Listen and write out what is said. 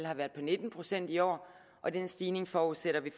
har været på nitten procent i år og den stigning forudsætter vi